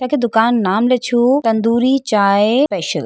यखे दुकान नाम ले छू तंदूरी चाय स्पेशल ।